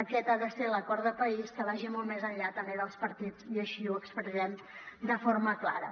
aquest ha de ser l’acord de país que vagi molt més enllà també dels partits i així ho expressem de forma clara